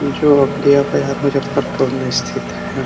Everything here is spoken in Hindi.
इ जो अघोरिया बाजार मुजफ्फरपूर में स्थित है ।